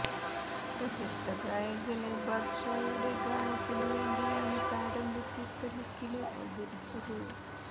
പ്രശസ്ത ഗായകന് ബാദ്ഷായുടെ ഗാനത്തിനു വേണ്ടിയാണ് താരം വ്യത്യസ്ത ലുക്കില് അവതരിച്ചത്